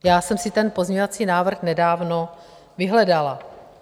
Já jsem si ten pozměňovací návrh nedávno vyhledala.